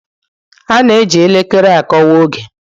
A na-eji elekere akọwa oge